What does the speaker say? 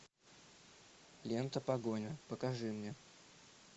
лента погоня покажи мне